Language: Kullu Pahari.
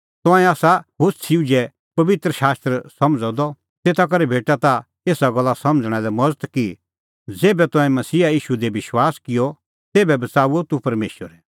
तंऐं आसा होछ़ी उझै पबित्र शास्त्र समझ़अ द तेता करै भेटा ताह एसा गल्ला समझ़णा लै मज़त कि ज़ेभै तंऐं मसीहा ईशू दी विश्वास किअ तेभै बच़ाऊअ तूह परमेशरै